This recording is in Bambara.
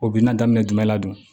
O bi na daminɛ jumɛn la dun